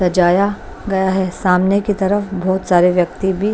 सजाया गया है सामने की तरफ बहुत सारे व्यक्ति भी--